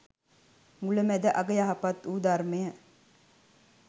මුල, මැද, අග යහපත්වූ ධර්මය